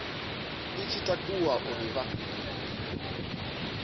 i tshi takuwa uri vha